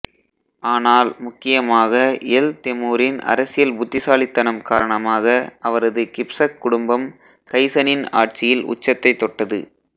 ஆனால் முக்கியமாக எல் தெமுரின் அரசியல் புத்திசாலித்தனம் காரணமாக அவரது கிப்சக் குடும்பம் கயிசனின் ஆட்சியில் உச்சத்தைத் தொட்டது